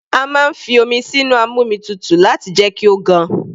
A máa ń fi omi sínu amómitutù láti jẹ́ kí ó gan.